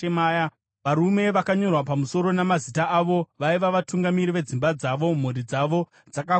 Varume vakanyorwa pamusoro namazita avo vaiva vatungamiri vedzimba dzavo. Mhuri dzavo dzakakura kwazvo